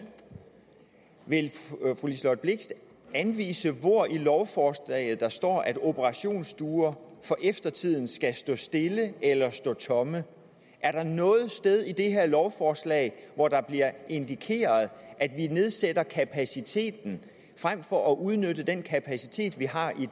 vil fru liselott blixt anvise hvor i lovforslaget der står at operationsstuer for eftertiden skal stå stille eller stå tomme er der noget sted i det her lovforslag hvor der bliver indikeret at vi nedsætter kapaciteten frem for at udnytte den kapacitet vi har i